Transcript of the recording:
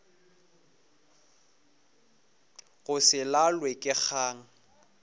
go se lalwe ke kgang